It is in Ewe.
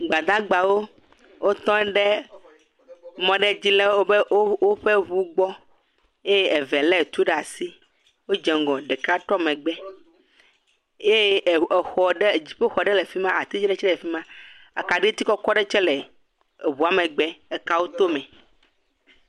gbadagbawo wótɔ ɖe mɔ ɖe dzi le wóƒe ʋu gbɔ eye eve le tu ɖasi wó dze ŋgɔ ɖeka trɔ megbɛ ye xɔɖe dziƒoxɔ ɖɛ lɛ fima ati ɖɛ tsɛ le fima akaɖiti kɔkɔ ɖe tsɛ le eʋua mɛgbɛ ekawo to mɛ